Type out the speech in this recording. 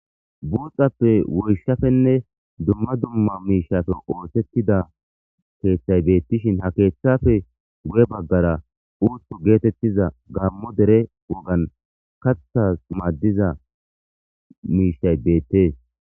Buuxappe woyshafenne dumma dumma miishafe oothettida keeththay beettishin ha keeththafe gu'e baggara uuthu geetettiza gammo dere wogan kathas maaddiza miishtay beettees.